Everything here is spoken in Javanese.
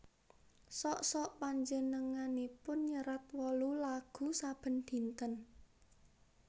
Sok sok panjenenganipun nyerat wolu lagu saben dinten